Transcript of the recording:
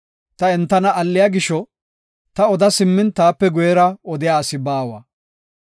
Ta entana alliya gisho, ta oda simmin taape guyera odiya asi baawa.